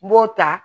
N b'o ta